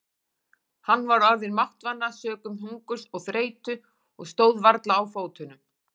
Hann var orðinn máttvana sökum hungurs og þreytu og stóð varla á fótunum.